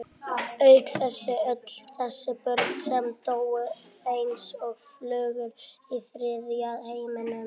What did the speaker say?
Auk þess öll þessi börn sem dóu eins og flugur í þriðja heiminum.